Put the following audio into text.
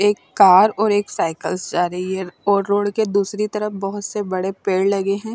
एक कार और एक साइकल्स जा रही है और रोड के दूसरी तरफ बोहोत सारे बड़े पेड़ लगे है।